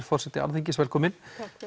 forseti Alþingis velkomin